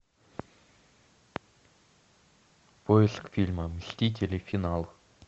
поиск фильма мстители финал